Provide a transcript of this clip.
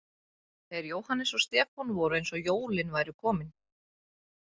Þeir Jóhannes og Stefán voru eins og jólin væru komin.